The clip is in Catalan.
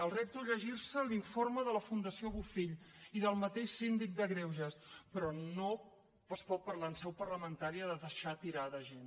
els repto a llegir se l’informe de la fundació bofill i del mateix síndic de greuges però no es pot parlar en seu parlamentaria de deixar tirada gent